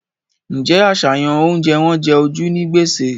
Ǹjẹ́ àṣàyàn oúnjẹ wọn jẹ ojú ní gbèsè?